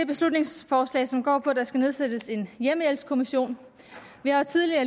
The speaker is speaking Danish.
beslutningsforslag som går ud på at der skal nedsættes en hjemmehjælpskommission vi har tidligere